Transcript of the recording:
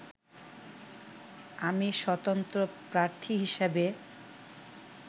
আমি স্বতন্ত্র প্রার্থী হিসেবে